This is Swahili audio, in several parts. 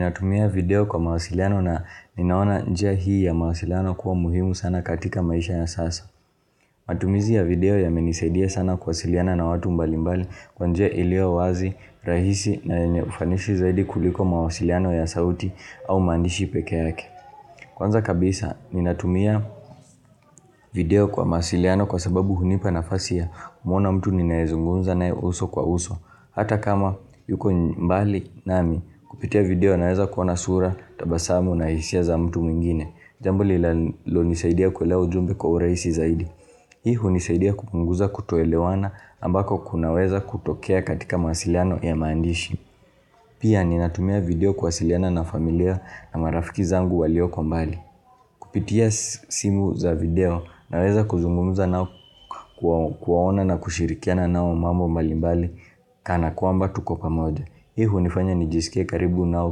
Ninatumia video kwa mawasiliano na ninaona njia hii ya mawasiliano kuwa muhimu sana katika maisha ya sasa. Matumizi ya video ya menisaidia sana kuwasiliana na watu mbali mbali kwanjia iliyo wazi, rahisi na yenyeufanisi zaidi kuliko mawasiliano ya sauti au maandishi peke yake. Kwanza kabisa, ninatumia video kwa mawasiliano kwa sababu hunipa nafasi ya kumuona mtu ninaezungunza na uso kwa uso. Hata kama yuko mbali nami, kupitia video naweza kuona sura, tabasamu na hisia za mtu mwingine. Jambo lilo nisaidia kuelewa ujumbe kwa urahisi zaidi. Hii hunisaidia kupunguza kutoelewana ambako kunaweza kutokea katika mawasiliano ya maandishi. Pia ninatumia video kuwasiliana na familia na marafiki zangu walio kwa mbali. Kupitia simu za video ninaweza kuzungumuza nao kuwaona na kushirikiana nao mambo mbali mbali Kana kwamba tukopamoja. Hii hunifanya nijisikie karibu nao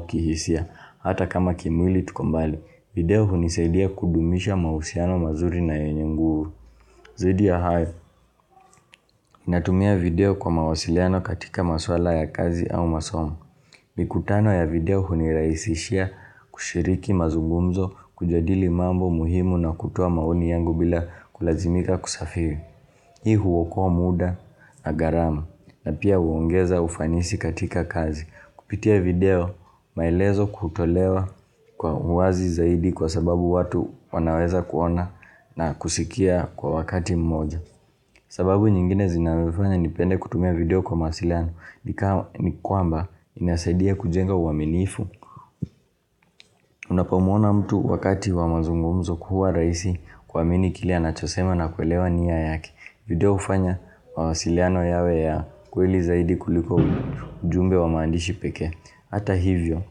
kihisia. Hata kama kimwili tukombali. Video hunisaidia kudumisha mahusiano mazuri na yenye nguvu. Zaidi ya hayo. Natumia video kwa mawasiliano katika maswala ya kazi au masomo. Mikutano ya video huniraisishia kushiriki mazugumzo kujadili mambo muhimu na kutoa maoni yangu bila kulazimika kusafiri. Hii huokoa muda na gharama. Na pia huongeza ufanisi katika kazi. Kupitia video, maelezo kutolewa kwa uwazi zaidi kwa sababu watu wanaweza kuona na kusikia kwa wakati mmoja. Sababu nyingine zinazonifanya nipende kutumia video kwa mawasiliano, nikama ni kwamba inasaidia kujenga uaminifu. Unapamuona mtu wakati wa mazungumzo kuwa rahisi kuamini kile anachosema na kuelewa nia yake. Video hufanya mawasiliano yawe ya kweli zaidi kuliko ujumbe wa maandishi pekee. Hata hivyo,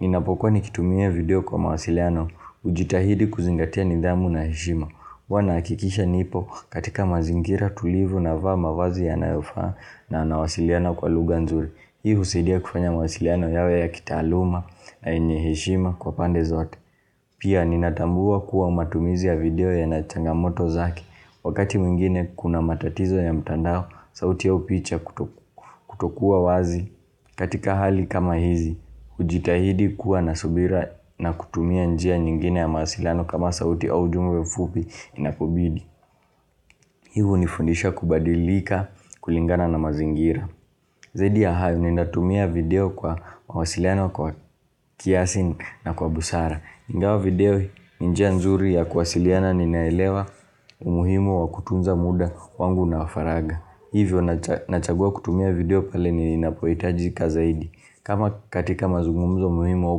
ninapokwa nikitumia video kwa mawasiliano hujitahidi kuzingatia nidhamu na heshima. Huwanahakikisha nipo katika mazingira tulivu na vaa mawazi yanayo faa na nawasiliana kwa lugha nzuri. Hii husaidia kufanya mawasiliano yawe ya kitaaluma na yenye heshima kwa pande zote. Pia ninatambua kuwa matumizi ya video ya nachanga moto zake. Wakati mwingine kuna matatizo ya mtandao sauti au picha kutokuwa wazi katika hali kama hizi. Ujitahidi kuwa nasubira na kutumia njia nyingine ya mawasiliano kama sauti au ujumbe mfupi inapobidi Hii unifundisha kubadilika kulingana na mazingira Zaidi ya hayo ni natumia video kwa mawasiliano kwa kiasi na kwa busara ingawa video ni njia nzuri ya kuwasiliana ninaelewa umuhimu wa kutunza muda wangu na wafaragha Hivyo ninachagua kutumia video pale ninapohitajika zaidi kama katika mazungumzo muhimu au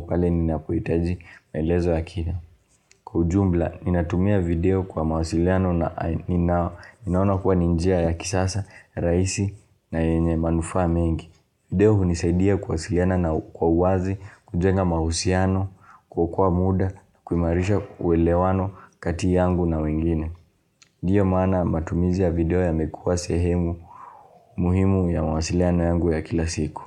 pale ninapohitaji maelezo ya kina. Kwaujumla, ninatumia video kwa mawasiliano na ninaona kuwa ninjia ya kisasa, rahisi na yenye manufaa mengi. Video hunisaidia kuwasiliana na kwa uwazi, kujenga mahusiano, kuokoa muda, kuimarisha uelewano kati yangu na wengine. Ndiyo maana matumizia video yamekuwa sehemu muhimu ya mawasiliano yangu ya kila siku.